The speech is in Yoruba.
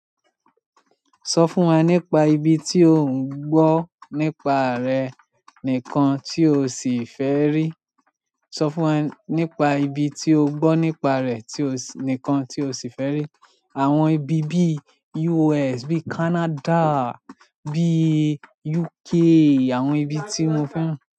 Sọ fún wa nípa ibi tí ò ń gbọ́ nípa re nìkan tí o sì fẹ́ rí. Sọ fún wa nípa ibi tí o gbọ́ nípa rẹ̀ tí o sì nìkan tí o sì fẹ́ rí. Àwọn ibi bí i US, bí i Canada, bí i UK, àwọn ibi tí mo fẹ́ràn.